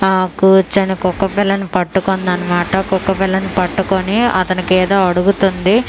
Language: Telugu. ఆ కూర్చొని కుక్క పిల్లని పట్టుకుందనమాట కుక్క పిల్లని పట్టుకొని అతనికి ఏదో అడుగుతుంది.